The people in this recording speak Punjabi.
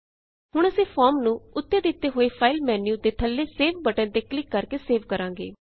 ਹੁਣ ਅਸੀਂ ਫੋਰਮ ਨੂੰ ਉੱਤੇ ਦਿੱਤੇ ਹੋਏ ਫਾਈਲ ਮੇਨ੍ਯੂ ਦੇ ਥੱਲੇ ਸੇਵ ਬਟਨ ਤੇ ਕਲਿਕ ਕਰਕੇ ਸੇਵ ਕਰਾਂਗੇ